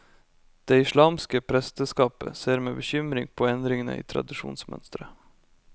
Det islamske presteskapet ser med bekymring på endringene i tradisjonsmønsteret.